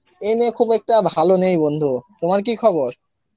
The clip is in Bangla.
এই নিয়ে খুব একটা ভালো নেই বন্ধু, তোমার কি খবর?